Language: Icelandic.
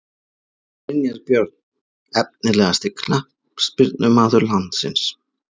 Brynjar Björn Efnilegasti knattspyrnumaður landsins?